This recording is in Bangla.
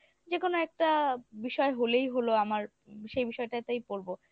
যেকোনো একটা বিষয় হলেই হলো আমার সেই বিষয়টাতেই পরবো।